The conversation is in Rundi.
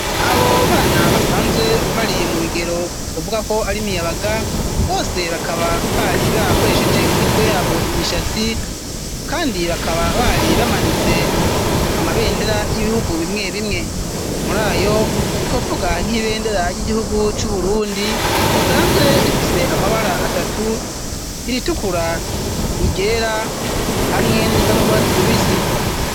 Abo bana basanzwe bari mu bigero ,wovuga ko ari miyabaga bose bakaba bari barakoresheje mu mitwe yabo imishatsi ,kandi bakaba bari bamanitse amabendera y'ibihugu, bimwe bimwe ,muri ayo twovuga nk'ibendera ry'igihugu c'uburundi ,risanzwe rifise amabara atatu iritukura iryera hamwe n'risanu rwatsi rubisi.